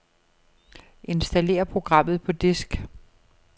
Installer programmet på disk.